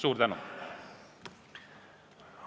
Suur tänu!